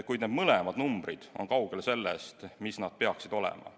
Kuid mõlemad numbrid on kaugel sellest, mis nad peaksid olema.